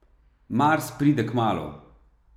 Mars pride kmalu.